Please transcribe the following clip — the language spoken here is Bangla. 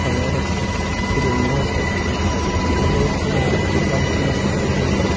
চিরুনিও আছে ভর্তি কইরা বাল্বও আছে বটে মানে।